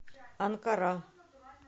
анкара